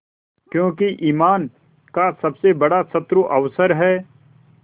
क्योंकि ईमान का सबसे बड़ा शत्रु अवसर है